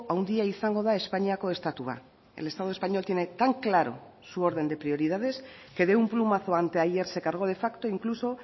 handia izango da espainiako estatua el estado español tiene tan claro su orden de prioridades que de un plumazo anteayer se cargó de facto incluso